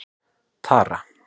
Tara